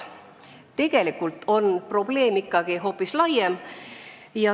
Tegelikult on probleem ikkagi hoopis laiem.